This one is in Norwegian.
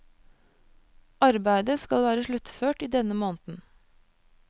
Arbeidet skal være sluttført i denne måneden.